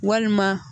Walima